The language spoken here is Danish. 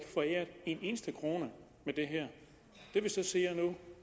foræret en eneste krone med det her det vi ser nu